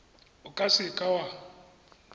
o ka se ka wa